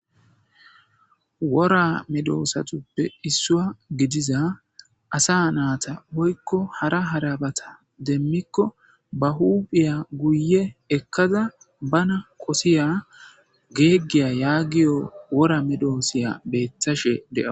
wora medoosatuppe issua gidiza asa naata hoykko hara harabata demmikko ba huuphiya guye ekkada bana qosiya geeggiya yaagiyo wora medoosiya beethashe dea